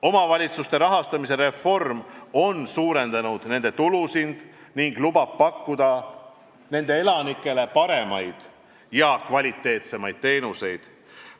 Omavalitsuste rahastamise reform on suurendanud nende tulusid ning lubab pakkuda nende elanikele paremaid, kvaliteetsemaid teenuseid.